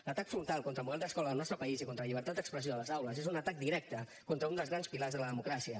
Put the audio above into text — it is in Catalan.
l’atac frontal contra el model d’escola al nostre país i contra la llibertat d’expressió a les aules és un atac directe contra un dels grans pilars de la democràcia